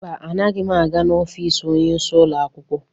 Mba, anaghị m aga n'ofiisi onyeisi ụlọ akwụkwọ.